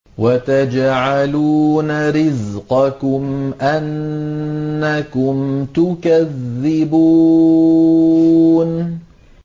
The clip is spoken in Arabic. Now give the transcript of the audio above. وَتَجْعَلُونَ رِزْقَكُمْ أَنَّكُمْ تُكَذِّبُونَ